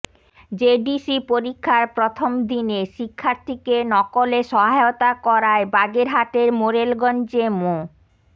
JDC পরীক্ষার প্রথম দিনে শিক্ষার্থীকে নকলে সহায়তা করায় বাগেরহাটের মোরেলগঞ্জে মো